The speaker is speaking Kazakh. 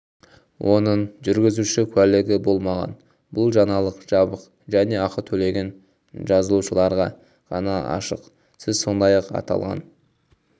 оның жүргізуші куәлігі болмаған бұл жаңалық жабық және ақы төлеген жазылушыларға ғана ашық сіз сондай-ақ аталған